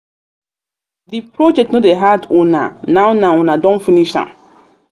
de project no dey hard una now now una now una don finish am.